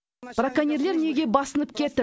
браконьерлер неге басынып кетті